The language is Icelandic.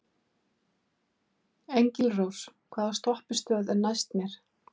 Engilrós, hvaða stoppistöð er næst mér?